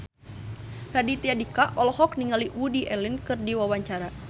Raditya Dika olohok ningali Woody Allen keur diwawancara